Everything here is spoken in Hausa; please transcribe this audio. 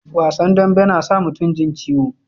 Wasan dambe na sa mutum jin ciwo